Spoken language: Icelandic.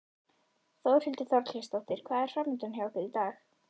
Þórhildur Þorkelsdóttir: Hvað er framundan hjá ykkur í dag?